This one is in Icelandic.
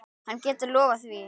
Hann getur lofað því.